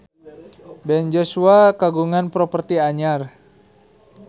Ben Joshua kagungan properti anyar